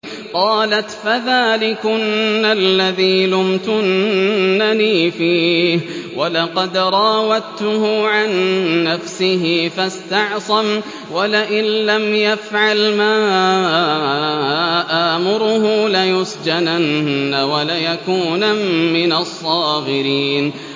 قَالَتْ فَذَٰلِكُنَّ الَّذِي لُمْتُنَّنِي فِيهِ ۖ وَلَقَدْ رَاوَدتُّهُ عَن نَّفْسِهِ فَاسْتَعْصَمَ ۖ وَلَئِن لَّمْ يَفْعَلْ مَا آمُرُهُ لَيُسْجَنَنَّ وَلَيَكُونًا مِّنَ الصَّاغِرِينَ